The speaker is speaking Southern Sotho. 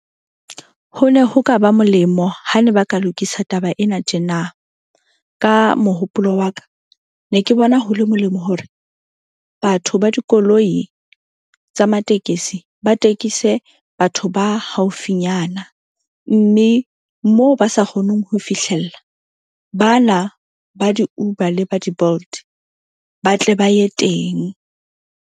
Ho ne ho ka ba molemo ha ne ba ka lokisa taba ena tjena ka mohopolo wa ka. Ne ke bona hole molemo hore batho ba dikoloi tsa matekesi ba tekise batho ba haufinyana. Mme moo ba sa kgoneng ho fihlella bana ba di-Uber le ba di-Bolt ba tle ba ye teng.